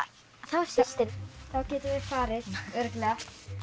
þrjár systur þá getum við farið örugglega